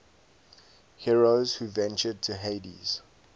heroes who ventured to hades